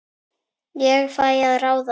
Ég fæ að ráða.